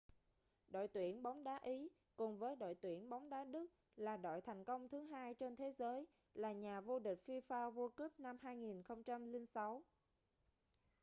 đội tuyển bóng đá ý cùng với đội tuyển bóng đá đức là đội thành công thứ hai trên thế giới là nhà vô địch fifa world cup năm 2006